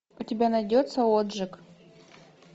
у тебя найдется отжиг